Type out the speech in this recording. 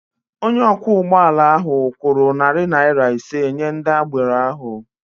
Onye ọkwọ ụgbọ ala ahụ kwụrụ narị naira ise nye ndị agbero ahụ.